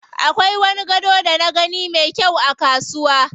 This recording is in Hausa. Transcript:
Akwai wani gado da na gani me kyau a kasuwa.